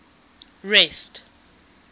rest